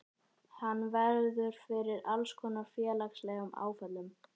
Hann verður fyrir alls konar félagslegum áföllum.